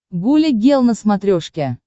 гуля гел на смотрешке